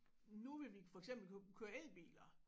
Nu vil vi for eksempel kø køre elbiler